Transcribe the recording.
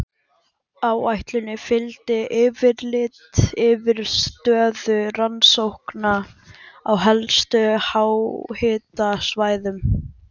Áætluninni fylgdi yfirlit yfir stöðu rannsókna á helstu háhitasvæðum.